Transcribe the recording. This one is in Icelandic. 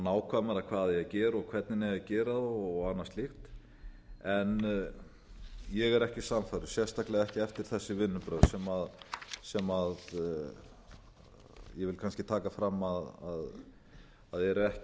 nákvæmara hvað eigi að gera og hvernig eigi að gera það og annað slíkt en ég er ekki sannfærður sérstaklega ekki eftir þessi vinnubrögð sem ég vil kannski taka fram að eru ekki